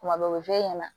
Kuma bɛɛ o bɛ f'e ɲɛna